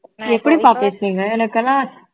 எப்படிப்பா பேசுவீங்க எனக்கெல்லாம்